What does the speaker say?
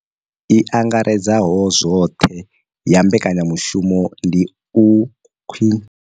I angaredzaho zwoṱhe ya mbekanyamushumo ndi u khwinisa tshiimo tsha zwa pfushi na mutakalo zwa vhagudiswa vha shayesaho Afrika Tshipembe.